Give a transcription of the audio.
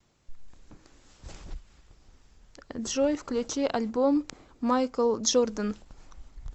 джой включи альбом майкл джордан